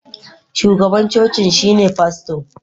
shugaban cocin shine fasto